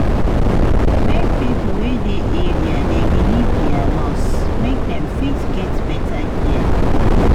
make pipo wey dey area dey believe their nurse make dem fit get better care.